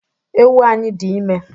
Ewu anyị dị ime